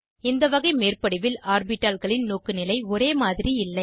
இந்த வகை மேற்படிவில் ஆர்பிட்டால்களின் நோக்குநிலை ஒரேமாதிரி இல்லை